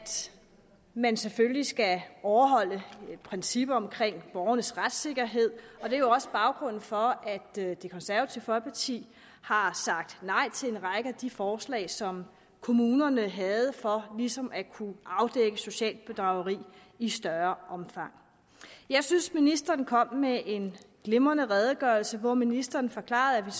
man selvfølgelig skal overholde et princip om borgernes retssikkerhed det er også baggrunden for at det det konservative folkeparti har sagt nej til en række af de forslag som kommunerne havde for ligesom at kunne afdække socialt bedrageri i større omfang jeg synes at ministeren kom med en glimrende redegørelse hvor ministeren forklarede